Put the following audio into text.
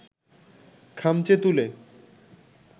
খামচে তুলে